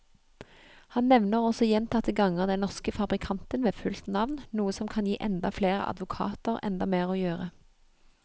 Han nevner også gjentatte ganger den norske fabrikanten ved fullt navn, noe som kan gi enda flere advokater enda mer å gjøre.